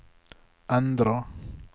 endra